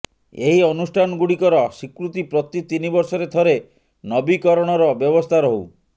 ଏହି ଅନୁଷ୍ଠାନ ଗୁଡ଼ିକର ସ୍ୱୀକୃତି ପ୍ରତି ତିନିବର୍ଷରେ ଥରେ ନବୀକରଣର ବ୍ୟବସ୍ଥା ରହୁ